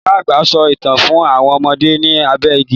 Ìyá àgbà ń sọ ìtàn fún àwọn ọmọdé ní abé igi